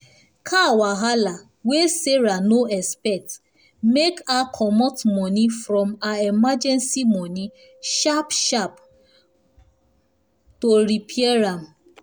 car wahala wey sarah no expect make her comot money from her emergency money sharp-sharp to repair am